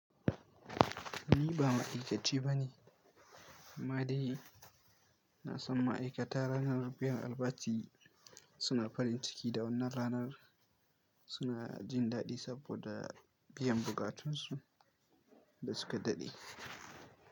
Ni ba ma’aikaci ba ne, amma dai na san ma’aikata ranar biyan albashi suna farin ciki da wannan ranar suna jin daɗi saboda biyan buƙatunsu da suka daɗe.